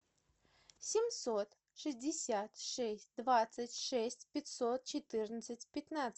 семьсот шестьдесят шесть двадцать шесть пятьсот четырнадцать пятнадцать